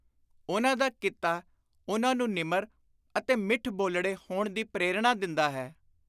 ਉਨ੍ਹਾਂ ਦਾ ਕਿੱਤਾ ਉਨ੍ਹਾਂ ਨੂੰ ਨਿਮਰ ਅਤੇ ਮਿੱਠ-ਬੋਲੜੇ ਹੋਣ ਦੀ ਪ੍ਰੇਰਣਾ ਦਿੰਦਾ ਹੈ।